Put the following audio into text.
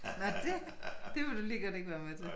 Nå dét det vil du lige godt ikke være med til